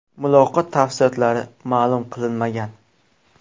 Muloqot tafsilotlari ma’lum qilinmagan.